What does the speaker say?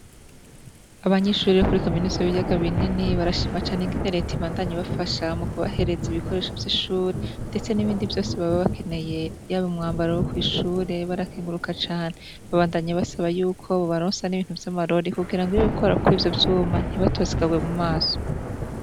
Abanyishuri ro kuri kaminuza biryaga binini barashimacane inginereti ibandanye bafasha mu kubahereza ibikoresho vy'ishure, ndetse n'ibindi vyose babe bakeneye yabo umwambaro wo kw'ishure barakenguruka cane babandanyi basaba yuko bobaronsa n'ibintu vy'amarori kugira ngo iyo wikorakwa ivyo vyuma ntibatosikarwe mu maso.